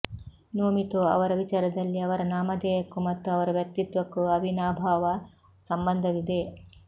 ನೋಮಿತೊ ಅವರ ವಿಚಾರದಲ್ಲಿ ಅವರ ನಾಮಧೇಯಕ್ಕೂ ಮತ್ತು ಅವರ ವ್ಯಕ್ತಿತ್ವಕ್ಕೂ ಅವಿನಾಭಾವ ಸಂಬಂಧವಿದೆ